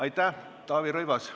Taavi Rõivas.